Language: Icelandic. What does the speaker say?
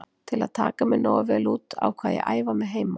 Til að taka mig nógu vel út ákvað ég að æfa mig heima.